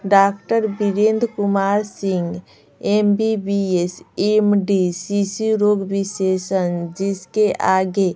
doctor Virendra Kumar Singh M B B S M D शिशु रोग विशेषण जिसके आगे--